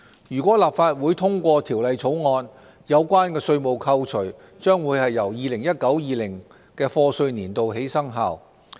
如立法會通過《條例草案》，有關稅務扣除將由 2019-2020 課稅年度起生效。